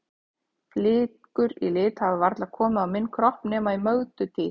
Flíkur í lit hafa varla komið á minn kropp nema í Mögdu tíð.